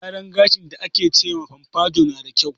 Gyaran gashin da ake ce ma fomfado na da kyau.